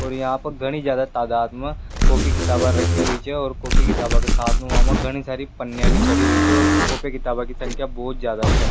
और यहाँ पर घनी ज्यादा तादात माँ कॉपी किताबा रखी हुई च और कॉपी किताबे के साथ माँ घनी सारि पनिया भी चढ़ी हुई छ और कॉपी किताबा की संख्या बहोत ज्यादा छे।